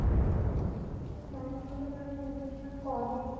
ନାଇଁ ମୁଁ ତ କେବେ investment କରିନି